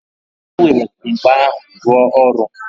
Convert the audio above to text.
E werela mkpa ahụ rụọ ọrụ